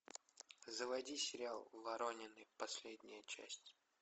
заводи сериал воронины последняя часть